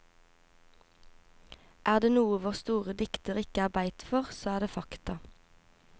Er det noe vår store dikter ikke er i beit for, så er det fakta.